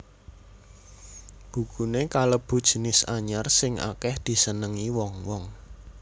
Bukuné kalebu jinis anyar sing akèh disenengi wong wong